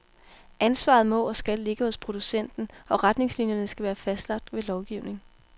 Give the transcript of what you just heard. Ansvaret må og skal ligge hos producenten, og retningslinierne være fastlagt ved lovgivning.